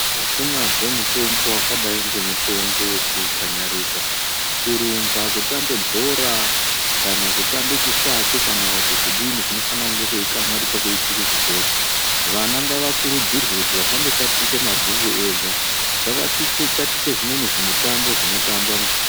Akunazve mutombo wakadai ngemutombo wekukanyarika ,kurumba kutambe bhora kana kutambe chisvake ,kana kuti kudinin kunofane kunge kweikanyarika kweitwe kuzvikora vana ngavakururudzirwe kuti vasandotatiche mabhuku ega ngavatatiche zvimweni zvimutambo zvinotambwa muzvikora.